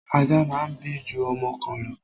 Ajá máa ń bí ju ọmọ kan lọ.